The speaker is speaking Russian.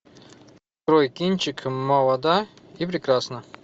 открой кинчик молода и прекрасна